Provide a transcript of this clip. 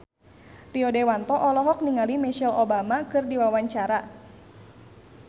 Rio Dewanto olohok ningali Michelle Obama keur diwawancara